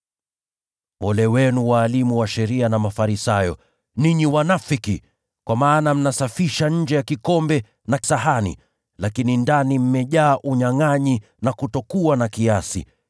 “Ole wenu, walimu wa sheria na Mafarisayo, ninyi wanafiki! Kwa maana mnasafisha kikombe na sahani kwa nje, lakini ndani mmejaa unyangʼanyi na kutokuwa na kiasi.